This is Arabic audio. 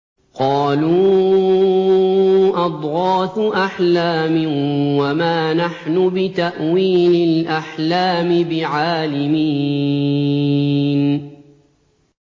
قَالُوا أَضْغَاثُ أَحْلَامٍ ۖ وَمَا نَحْنُ بِتَأْوِيلِ الْأَحْلَامِ بِعَالِمِينَ